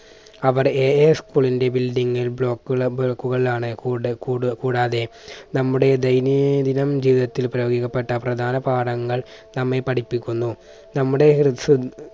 അവർ AAschool ന്റെ building block കളിലാണ് കൂടെ കൂട് കൂടാതെ നമ്മുടെ ദൈനിദിനം ജീവിതത്തിൽ പ്രയോഗിക്കപ്പെട്ട പ്രധാന പാഠങ്ങൾ നമ്മെ പഠിപ്പിക്കുന്നു. നമ്മുടെ